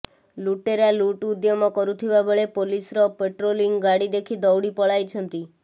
ଲୁଟେରା ଲୁଟ୍ ଉଦ୍ୟମ କରୁଥିବାବେଳେ ପୋଲିସର ପାଟ୍ରୋଲିଂ ଗାଡି ଦେଖି ଦୌଡି ପଳାଇଛନ୍ତି